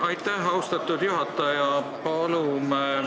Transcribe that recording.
Aitäh, austatud juhataja!